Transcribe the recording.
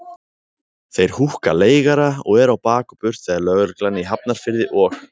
Þeir húkka leigara og eru á bak og burt þegar lögreglan í Hafnarfirði og